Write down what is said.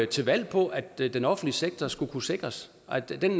til valg på at den offentlige sektor skulle sikres at den